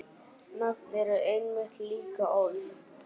Nöfn eru einmitt líka orð.